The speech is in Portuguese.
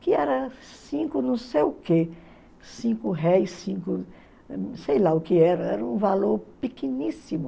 que era cinco não sei o quê, cinco réis, cinco sei lá o que era, era um valor pequeníssimo.